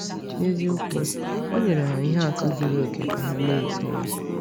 N’eziokwu, o nyere ha ihe atụ zuru oke ka ha na-eso ya.